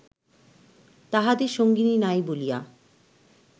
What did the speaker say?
তাঁহাদের সঙ্গিনী নাই বলিয়া